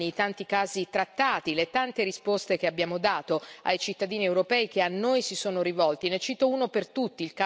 Ricordo negli anni i tanti casi trattati, le tante risposte che abbiamo dato ai cittadini europei che a noi si sono rivolti.